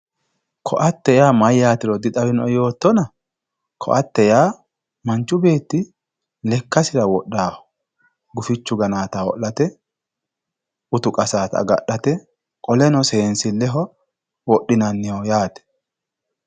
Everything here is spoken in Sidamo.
Koatte yaa mayyatero dixawinoe yoottonna ,koatte yaa manchu beetti lekkasi wodhanoho gufichu gananotta ho'late utu qasanotta agadhate qoleno seensileho wodhinanniho yaate.